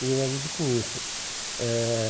Me realizo com isso. Eh